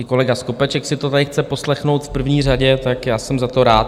I kolega Skopeček si to tady chce poslechnout v první řadě, tak já jsem za to rád.